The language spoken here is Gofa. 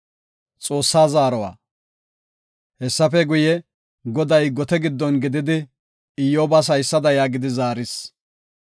Hessafe guye, Goday gote giddon gididi Iyyobas haysada yaagidi zaaris.